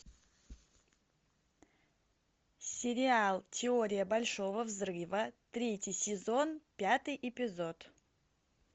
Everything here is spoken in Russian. сериал теория большого взрыва третий сезон пятый эпизод